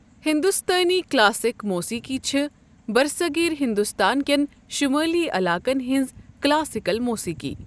ہِندوستٲنۍ کَلاسِکی موسیٮقی چھےٚ برصغیر ہندوستان کین شُمٲلی علاقن ہِنٛز کَلاسِکل موسیٖقی۔